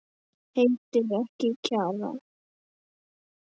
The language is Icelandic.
Heitir ekki Kjarrá!